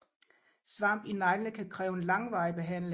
Svamp i neglene kan kræve en langvarig behandling